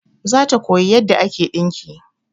Za ta koya yarda ake ɗinki